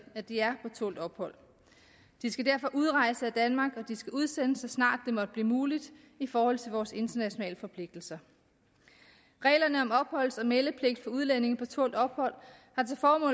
at de er på tålt ophold de skal derfor udrejse af danmark og de skal udsendes så snart det måtte blive muligt i forhold til vores internationale forpligtelser reglerne om opholds og meldepligt for udlændinge på tålt ophold